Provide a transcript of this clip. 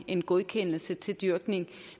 en godkendelse til dyrkning